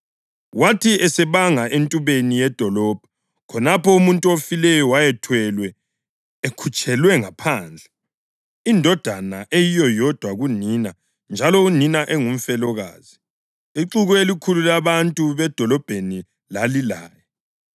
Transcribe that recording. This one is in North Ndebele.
Wathi esebanga entubeni yedolobho, khonapho umuntu ofileyo wayethwelwe ekhutshelwa ngaphandle. Indodana eyiyo yodwa kunina njalo unina engumfelokazi. Ixuku elikhulu labantu bedolobheni lalilaye.